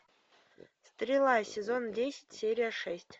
стрела сезон десять серия шесть